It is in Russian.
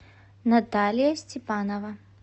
наталия степанова